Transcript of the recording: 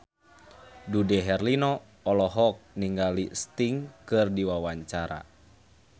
Dude Herlino olohok ningali Sting keur diwawancara